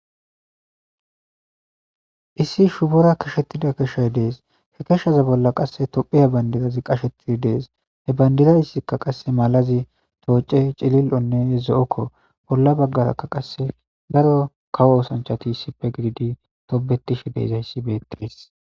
Issi shubora kashettida keshay dees he keshshaza bolla qasse tophiya bandirazi qashetidi dees he bandirayissikka qasse malazi tooce cilil7onnehe zo7okko bolla baggarakka qasse daro kawo osanchati issipe giidi tobetishe deezayssi beetees.